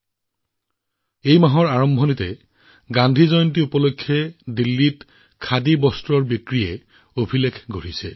চলিত মাহৰ আৰম্ভণিতে গান্ধী জয়ন্তী উপলক্ষে দিল্লীত খাদীৰ অভিলেখ পৰিমাণৰ বিক্ৰী হোৱা পৰিলক্ষিত হৈছিল